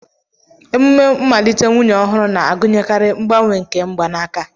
emume mmalite nwunye ọhụrụ na-agụnyekarị mgbanwe nke mgbanaka